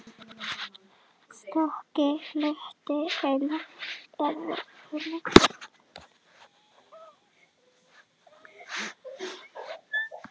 Stökki hluti hennar er því þunnur og getur ekki byggt upp mjög háa spennu.